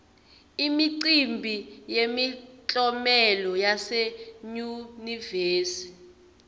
imicimbi yemiklomelo yase yunivesi